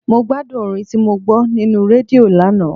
Mo gbádùn orin tí mo gbọ́ nínú rédíò lánàá.